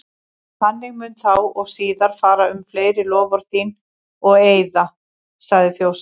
Þannig mun þá og síðar fara um fleiri loforð þín og eiða, sagði fjósamaður.